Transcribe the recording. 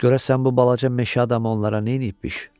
Görəsən bu balaca meşə adamı onlara nə edibmiş?